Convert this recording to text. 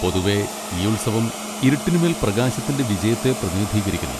പൊതുവേ, ഈ ഉത്സവം ഇരുട്ടിനുമേൽ പ്രകാശത്തിന്റെ വിജയത്തെ പ്രതിനിധീകരിക്കുന്നു.